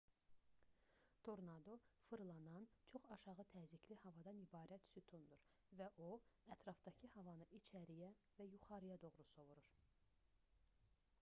tornado fırlanan çox aşağı təzyiqli havadan ibarət sütundur və o ətrafdakı havanı içəriyə və yuxarıya doğru sovurur